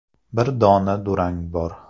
Bir dona durang bor.